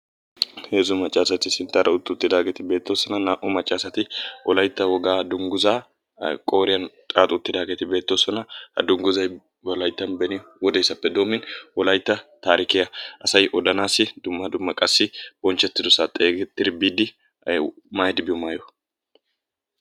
Heezzu maccasati sinttaara utti uttidaageeti beettoosona. Naa"u macca asati wolaytta woga dungguza qooriyaan xaaxi uttidaageti beettoosona. Ha dungguzay beni wodesappe doomidi asay Wolaytta tarikkiya asay odanassi dumma dumma qassi bonchchetidassa xeegettidi biidi maayidi biyo maayuwa. ..